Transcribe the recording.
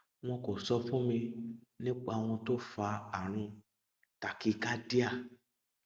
wọn kò sọ fún mi nípa ohun tó fa àrùn tachycardia